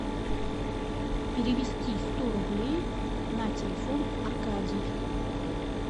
перевести сто рублей на телефон аркадий